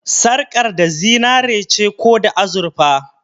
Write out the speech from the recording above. Sarƙar da zinare ce ko azurfa?